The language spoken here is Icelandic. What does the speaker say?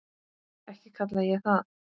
Ekki kalla ég það.